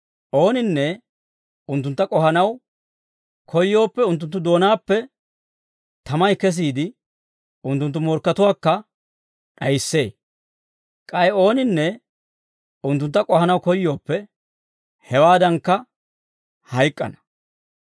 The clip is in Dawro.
Ooninne unttuntta k'ohanaw koyyooppe, unttunttu doonaappe tamay kesiide unttunttu morkkatuwaakka d'ayissee. K'ay ooninne unttuntta k'ohanaw koyyooppe, hewaaddankka hayk'k'ana.